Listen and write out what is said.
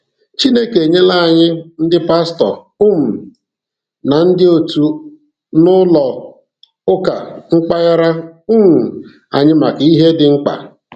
Chineke enyela ànyị ndị Pastọ um na ndị òtù n'ụlọ ụka mpaghara um anyị maka ihe dị mkpa.